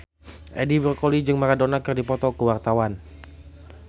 Edi Brokoli jeung Maradona keur dipoto ku wartawan